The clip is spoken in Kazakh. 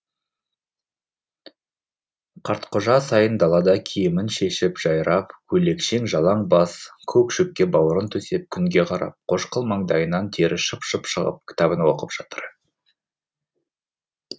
қартқожа сайын далада киімін шешіп жайрап көйлекшең жалаң бас көк шөпке бауырын төсеп күнге қарап қошқыл маңдайынан тері шып шып шығып кітабын оқып жатыр